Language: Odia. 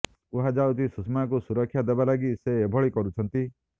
କୁହାଯାଉଛି ସୁଷମାଙ୍କୁ ସୁରକ୍ଷା ଦେବା ଲାଗି ସେ ଏଭଳି କରୁଛନ୍ତି